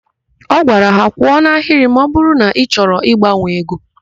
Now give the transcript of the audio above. Ọ gwara ha. "kwụọ n'ahịrị ma ọbụrụ na ị chọrọ ịgbanwe ego"!